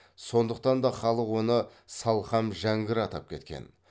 сондықтан да халық оны салхам жәңгір атап кеткен